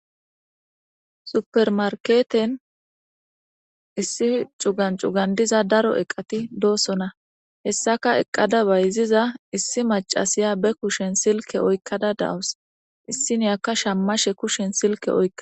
Super market issi cuga cuga diza daro eqati dosona hisaka bayiziza issi macashaya ba kushen Silke oykada dawuse issiniya shamashe kushen Silke oykada dawuse.